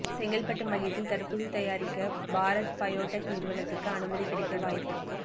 செங்கல்பட்டு மையத்தில் தடுப்பூசி தயாரிக்க பாரத் பயோடெக் நிறுவனத்துக்கு அனுமதி கிடைக்க வாய்ப்பு